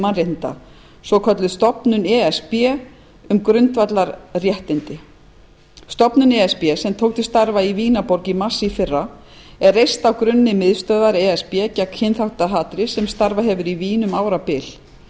mannréttindamála svokölluð stofnun e s b um grundvallarréttindi stofnun e s b sem tók til starfa í vínarborg í mars er reist á grunni miðstöðvar e s b gegn kynþáttahatri sem starfað hefur í vín um árabil það